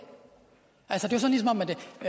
er man kan